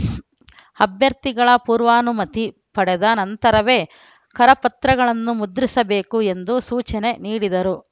ಅಭ್ಯರ್ಥಿಗಳ ಪೂರ್ವಾನುಮತಿ ಪಡೆದ ನಂತರವೇ ಕರಪತ್ರಗಳನ್ನು ಮುದ್ರಿಸಬೇಕು ಎಂದು ಸೂಚನೆ ನೀಡಿದರು